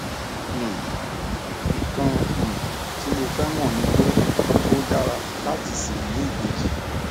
um nǹkan um tí mo fẹ mọ ni pé ó dára láti ṣì ní ìbejì